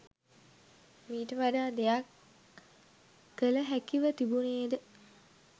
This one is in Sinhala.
මීට වඩා දෙයක් කළ හැකිව තිබුණේද?